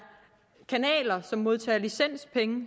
kanaler der modtager licenspenge